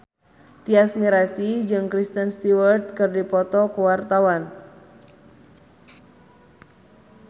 Tyas Mirasih jeung Kristen Stewart keur dipoto ku wartawan